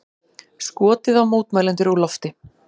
Skotið á mótmælendur úr lofti